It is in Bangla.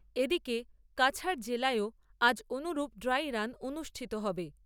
এদিকে কাছাড় জেলাতেও আজ অনুরূপ ড্রাই রান অনুষ্ঠিত হবে।